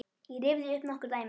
Ég rifjaði upp nokkur dæmi.